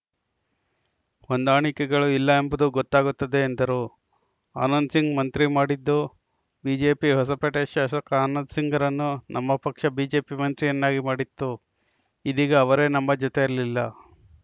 ಹೊಂದಾಣಿಕೆಗಳು ಇಲ್ಲ ಎಂಬುದು ಗೊತ್ತಾಗುತ್ತದೆ ಎಂದರು ಆನಂದಸಿಂಗ್‌ ಮಂತ್ರಿ ಮಾಡಿದ್ದು ಬಿಜೆಪಿ ಹೊಸಪೇಟೆ ಶಾಸಕ ಆನಂದ ಸಿಂಗ್‌ರನ್ನು ನಮ್ಮ ಪಕ್ಷ ಬಿಜೆಪಿ ಮಂತ್ರಿಯನ್ನಾಗಿ ಮಾಡಿತ್ತು ಇದೀಗ ಅವರೇ ನಮ್ಮ ಜೊತೆಯಲಿಲ್ಲ